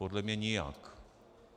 Podle mě nijak.